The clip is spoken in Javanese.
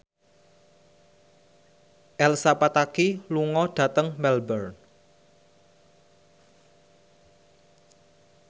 Elsa Pataky lunga dhateng Melbourne